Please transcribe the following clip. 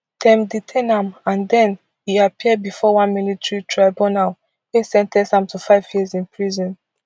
dem detain am and den e appear bifor one military tribunal wey sen ten ce am to five years in prison